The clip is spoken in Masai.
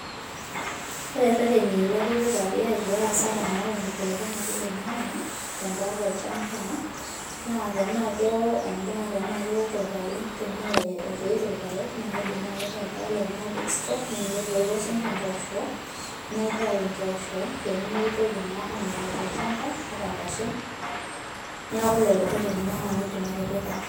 ore irereni lootipikaki tenkaraki enkibelekenyata oloingange naa tendaa tolchamba tenetoito irpayek tolchamba naitayu naa tenetoito siininche mpooshok naitayu muj aya sitoo peeminyala